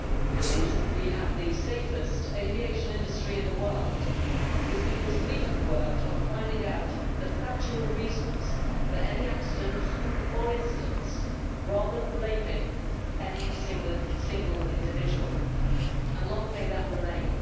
The reason we have the safest aviation industry in the world is because we have worked on finding out the factual reasons for any accidents or incidents, rather than blaming any single individual and long may that remain.